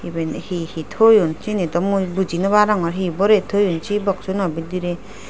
eben he he toyon seni dow mui buji nobarogor he borey toyon se box suno bidirey.